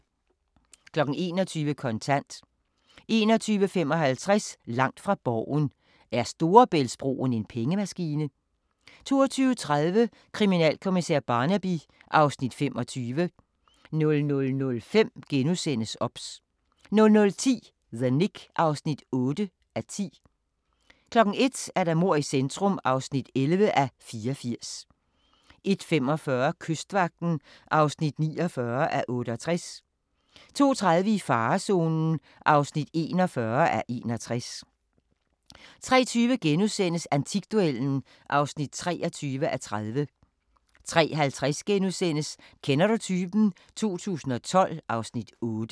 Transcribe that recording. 21:00: Kontant 21:55: Langt fra Borgen: Er Storebæltsbroen en pengemaskine? 22:30: Kriminalkommissær Barnaby (Afs. 25) 00:05: OBS * 00:10: The Knick (8:10) 01:00: Mord i centrum (11:84) 01:45: Kystvagten (49:68) 02:30: I farezonen (41:61) 03:20: Antikduellen (23:30)* 03:50: Kender du typen? 2012 (Afs. 8)*